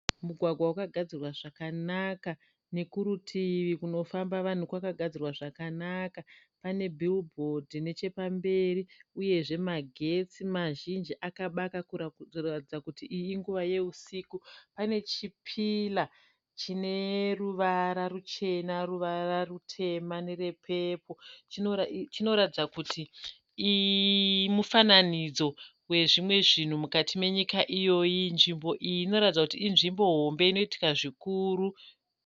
Mugwagwa wakagadzirwa zvakanaka nekuritivi kunofamba vanhu kwakagadzirwa zvakanaka pane bhiwubhodhi nechepamberi uyezve magetsi mazhinji akabaka kuratidza kuti iyi inguva yeusiku. Pane chipira chineruvara ruchena, ruvara rutema nerepepoo chinoratidza kuti mufananidzo wezvimwe zvinhu mukati menyika iyoyi. Nzvimbo iyi inoratidza kuti inzvimbo hombe inoitika zvikuru.